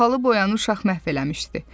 Bahalı boyanı uşaq məhv eləmişdi.